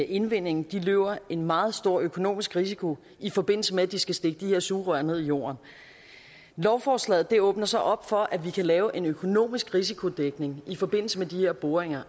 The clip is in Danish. indvindingen løber en meget stor økonomisk risiko i forbindelse med at de skal stikke de her sugerør ned i jorden lovforslaget åbner så op for at vi kan lave en økonomisk risikodækning i forbindelse med de her boringer